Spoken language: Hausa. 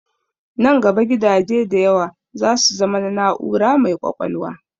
Nan gaba gidaje da yawa za su zama na na'ura mai ƙwaƙwalwa.